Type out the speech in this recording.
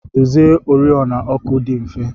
Idozi oriọna ọkụ dị mfe.